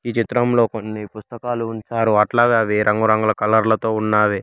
ఈ చిత్రంలో కొన్ని పుస్తకాలు ఉంచారు అట్లాగే అవి రంగు రంగు కలర్ లతో ఉన్నావి.